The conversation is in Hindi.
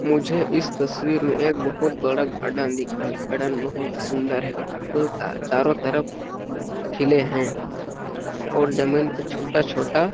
मुझे इस तस्वीर में एक बहुत बड़ा गार्डन दिख रहा है गार्डन बहुत सुन्दर है और फूल अ-- चारो तरफ खिले है और ज़मीन पे छोटा-छोटा--